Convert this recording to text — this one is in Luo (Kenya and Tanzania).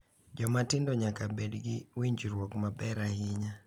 Joma tindo nyaka bed gi winjruok maber ahinya